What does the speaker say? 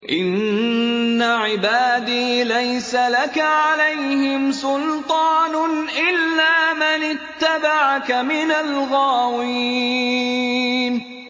إِنَّ عِبَادِي لَيْسَ لَكَ عَلَيْهِمْ سُلْطَانٌ إِلَّا مَنِ اتَّبَعَكَ مِنَ الْغَاوِينَ